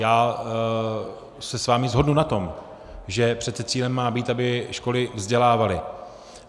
Já se s vámi shodnu na tom, že přece cílem má být, aby školy vzdělávaly.